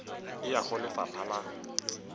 e ya go lefapha la